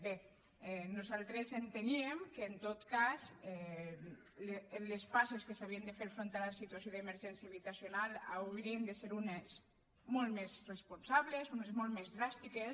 bé nosaltres enteníem que en tot cas les passes que s’havien de fer de cara a la situació d’emergència habitacional haurien de ser unes de molt més responsables unes de molt més dràstiques